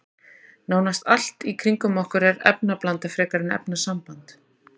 Nánast allt í kringum okkur er efnablanda frekar en efnasamband.